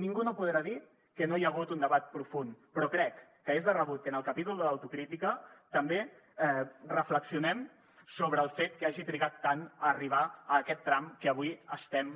ningú no podrà dir que no hi ha hagut un debat profund però crec que és de rebut que en el capítol de l’autocrítica també reflexionem sobre el fet que hagi trigat tant a arribar a aquest tram que avui estem